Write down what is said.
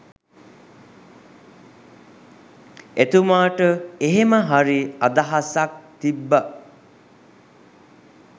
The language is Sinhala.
එතුමාට එහෙමහරි අදහසක් තිබ්බ.